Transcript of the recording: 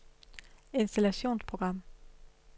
installationsprogram